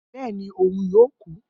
Bẹẹni, oun yoo ku.